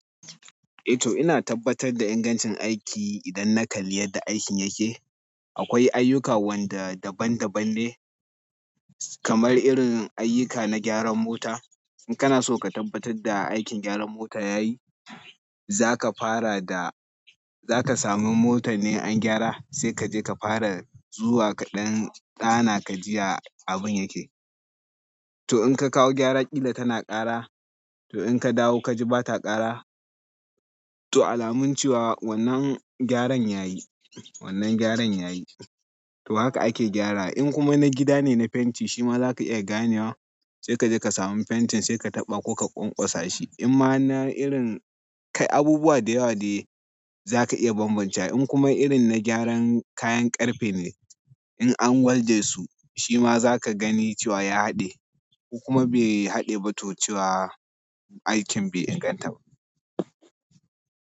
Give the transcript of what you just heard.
Eh to ina tabbatar da ingancin aiki idan na kalli yadda aikin yake. Akwai ayyuka wanda daban daban ne, kamar irin ayyuka na gyaran mota. In kana so ka tabbatar da aikin gyaran mota ya yi, za ka fara da za ka samu motar ne an gyara, sai ka je ka fara zuwa kaɗan ɗana ka jiya abin yake. To in ka kawo gyara ƙila tana ƙara, to in ka dawo ka ji ba ta ƙara, to alamun cewa wannan gyaran ya yi, wannan gyaran ya yi. To haka ake gyara. In kuma na gida ne na fenti shima za ka iya gane wa, sai ka je ka samu fentin sai ka taɓa ko ka ƙwaƙwasashi. In ma na irin kai abubuwa da yawa de za ka iya bambancewa. In kuma irin na gyaran kayan ƙarfe ne, in an walde su, shima za ka gani cewa ya haɗe ko kuma bai haɗe ba to cewa aikin bai inganta ba.